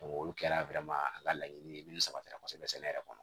olu kɛra an ka laɲini ye min sabatira kɔsɛbɛ sɛnɛ yɛrɛ kɔnɔ